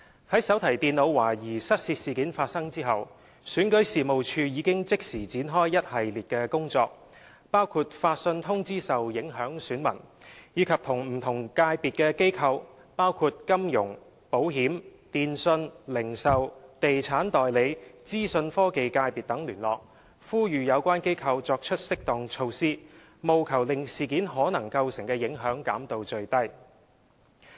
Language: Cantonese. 在手提電腦懷疑失竊事件發生後，選舉事務處已即時展開一系列工作，包括發信通知受影響選民，以及與不同界別機構，包括金融、保險、電訊、零售、地產代理和資訊科技界別等聯絡，呼籲有關機構作出適當措施，務求令事件可能構成的影響減到最低。